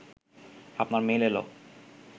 আপনার মেইল এল